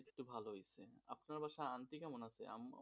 ভালো হইচে আপনার বাসায় aunty কেমন আছে?